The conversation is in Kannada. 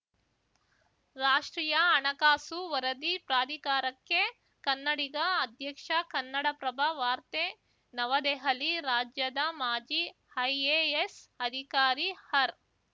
ರಾಷ್ಟ್ರೀಯ ಹಣಕಾಸು ವರದಿ ಪ್ರಾಧಿಕಾರಕ್ಕೆ ಕನ್ನಡಿಗ ಅಧ್ಯಕ್ಷ ಕನ್ನಡಪ್ರಭ ವಾರ್ತೆ ನವದೆಹಲಿ ರಾಜ್ಯದ ಮಾಜಿ ಐಎಎಸ್‌ ಅಧಿಕಾರಿ ಹರ್‌